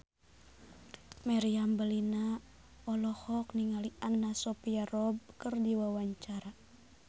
Meriam Bellina olohok ningali Anna Sophia Robb keur diwawancara